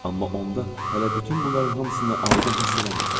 Amma onda hələ bütün bunların hamısını aydın hiss eləmirdim.